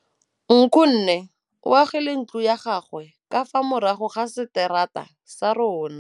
Nkgonne o agile ntlo ya gagwe ka fa morago ga seterata sa rona.